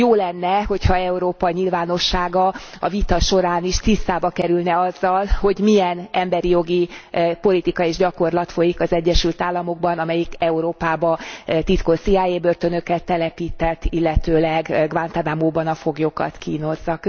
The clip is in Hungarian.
Jó lenne, ha Európa nyilvánossága a vita során is tisztába kerülne azzal, hogy milyen emberi jogi politika és gyakorlat folyik az Egyesült Államokban, amelyik Európába titkos CIA börtönöket telepített, illetőleg Guantánamóban a foglyokat kínozza.